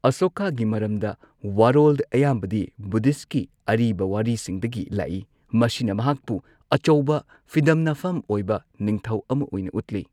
ꯑꯁꯣꯀꯥꯒꯤ ꯃꯔꯝꯗ ꯋꯥꯔꯣꯜ ꯑꯌꯥꯝꯕꯗꯤ ꯕꯨꯙꯤꯁꯠꯀꯤ ꯑꯔꯤꯕ ꯋꯥꯔꯤꯁꯤꯡꯗꯒꯤ ꯂꯥꯛꯏ, ꯃꯁꯤꯅ ꯃꯍꯥꯛꯄꯨ ꯑꯆꯧꯕ, ꯐꯤꯗꯝꯅꯐꯝ ꯑꯣꯏꯕ ꯅꯤꯡꯊꯧ ꯑꯃꯥ ꯑꯣꯏꯅ ꯎꯠꯂꯤ꯫